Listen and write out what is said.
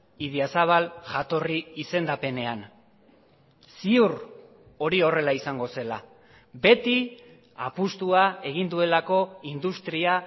idiazabal jatorri izendapenean ziur hori horrela izango zela beti apustua egin duelako industria